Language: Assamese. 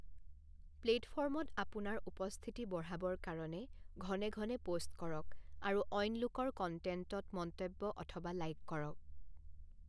প্লেটফ'ৰ্মত আপোনাৰ উপস্থিতি বঢ়াবৰ কাৰণে ঘনে ঘনে পোষ্ট কৰক আৰু অইন লোকৰ কণ্টেণ্টত মন্তব্য অথবা লাইক কৰক।